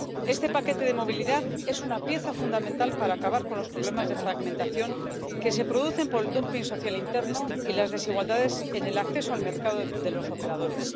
Este paquete de movilidad es una pieza fundamental para acabar con los problemas de fragmentación que se producen por el dumping social interno y las desigualdades en el acceso al mercado de los operadores.